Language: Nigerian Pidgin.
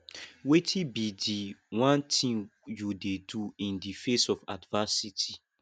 wetin be di one thing you dey do in di face of adversity